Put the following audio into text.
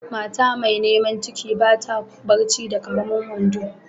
Mata mai niman ciki ba ta barci da karemin wando.